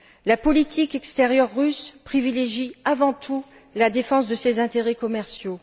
La politique extérieure russe privilégie avant tout la défense de ses intérêts commerciaux.